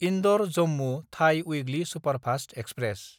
इन्दर–जम्मु थाइ weekly superfast express